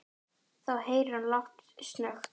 Þá heyrir hann lágt snökt.